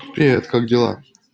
привет как дела